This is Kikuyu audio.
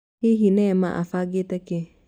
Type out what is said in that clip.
Hihi Neema abangĩte kĩĩ?